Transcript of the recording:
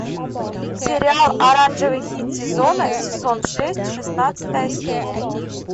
сериал оранжевый хит сезона сезон шесть шестнадцатая серия